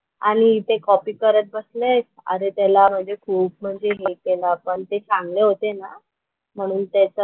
आणि इथे कॉपी करत बसलेत. अरे त्याला म्हणजे खूप म्हणजे हे केलं पण ते चांगले होते ना म्हणून त्याचं,